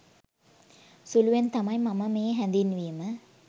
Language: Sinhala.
සුළුවෙන් තමයි මම මේ හැදින්වීම